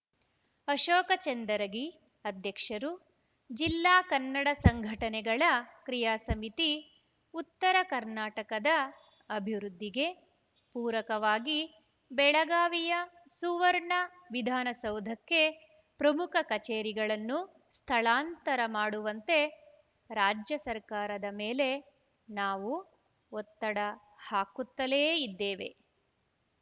ಅಶೋಕ ಚಂದರಗಿ ಅಧ್ಯಕ್ಷರು ಜಿಲ್ಲಾ ಕನ್ನಡ ಸಂಘಟನೆಗಳ ಕ್ರಿಯಾ ಸಮಿತಿ ಉತ್ತರ ಕರ್ನಾಟಕದ ಅಭಿವೃದ್ದಿಗೆ ಪೂರಕವಾಗಿ ಬೆಳಗಾವಿಯ ಸುವರ್ಣ ವಿಧಾನಸೌಧಕ್ಕೆ ಪ್ರಮುಖ ಕಚೇರಿಗಳನ್ನು ಸ್ಥಳಾಂತರ ಮಾಡುವಂತೆ ರಾಜ್ಯ ಸರ್ಕಾರದ ಮೇಲೆ ನಾವು ಒತ್ತಡ ಹಾಕುತ್ತಲೇ ಇದ್ದೇವೆ